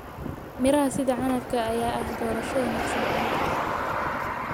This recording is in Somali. Miraha sida canabka ayaa ah doorasho wanaagsan carruurta.